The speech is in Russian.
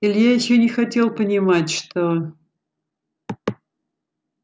илья ещё не хотел понимать что